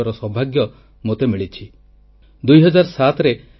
ଅନେକ ଥର ପରମ ପୂଜ୍ୟ ସ୍ୱାମୀଜୀଙ୍କ ଆଶୀର୍ବାଦ ଲାଭ କରିବାର ସୌଭାଗ୍ୟ ମୋତେ ମିଳିଛି